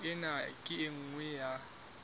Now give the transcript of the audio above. ena ke e nngwe ya